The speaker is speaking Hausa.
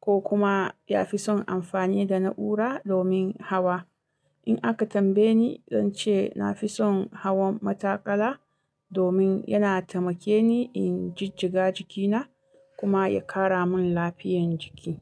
ko kuma ya fi son amfani da na'ura domin hawa. In aka tambaye ni, zan ce na fi son hawan matakala domin yana taimake ni in jijjiga jikina kuma ya kara mun lafiyan jiki.